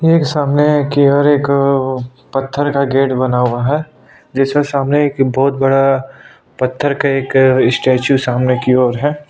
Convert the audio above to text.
एक सामने की ओर एक पत्थर का गेट बना हुआ है जिसमें सामने एक बहुत बड़ा पत्थर का एक स्टेचू सामने की ओर है। --